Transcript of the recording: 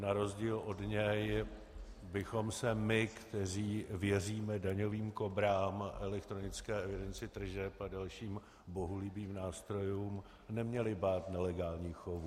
Na rozdíl od něj bychom se my, kteří věříme daňovým kobrám, elektronické evidenci tržeb a dalším bohulibým nástrojům, neměli bát nelegálních chovů.